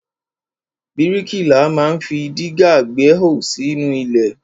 Bríkìlà ma ń fi dígà gbẹ́hò sínú ilẹ̀.